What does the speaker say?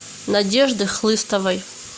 надежды хлыстовой